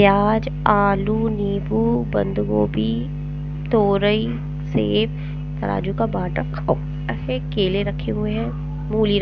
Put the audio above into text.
प्याज आलू नींबू बंद गोभी तोरई सेब तराजू का बाट रखा हुआ हैं केले रखे हुए हैं मूली ।